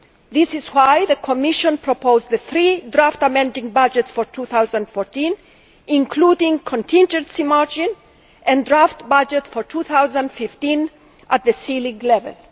This is why the Commission proposed the three draft amending budgets for 2014, including a contingency margin, and a draft budget for 2015 at the ceiling level.